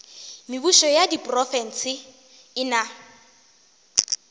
mebušo ya diprofense e na